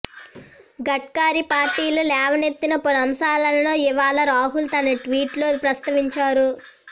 గడ్కరీ పార్టీలో లేవనెత్తిన పలు అంశాలను ఇవాళ రాహుల్ తన ట్వీట్ లో ప్రస్తావించారు